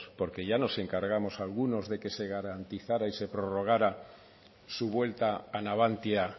porque ya nos encargamos algunos de que se garantizara y se prorrogara su vuelta a navantia